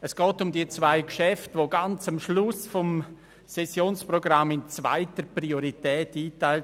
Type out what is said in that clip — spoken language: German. Es geht um die zwei Geschäfte, die ganz am Schluss des Sessionsprogramms der zweiten Priorität zugeordnet sind: